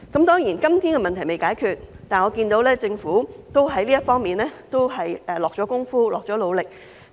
當然，今天問題尚未解決，但我看到政府在這方面已下了工夫和努力。